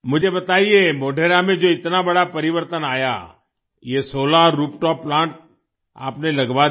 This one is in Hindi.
मुझे बताइये मोढेरा में जो इतना बड़ा परिवर्तन आया ये सोलार रूफटॉप प्लांट आपने लगवा दिया